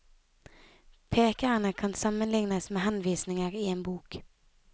Pekerene kan sammenlignes med henvisninger i en bok.